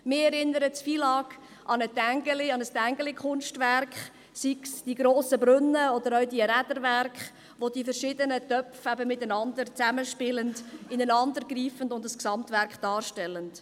Mich erinnert das FILAG an ein Tinguely-Kunstwerk, sei es an die grossen Brunnen, sei es an die Räderwerke, wo die verschiedenen Töpfe zusammenspielen, ineinandergreifen und ein Gesamtwerk darstellen.